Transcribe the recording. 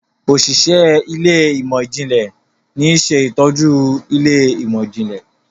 Òṣìṣẹ́ Ilé ìmọ̀n-jinlẹ ní ṣe ìtọjú Ilé ìmọ̀n-jinlẹ.